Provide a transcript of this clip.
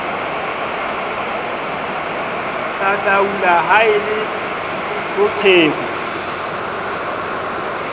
hahlaula ha e le boqheku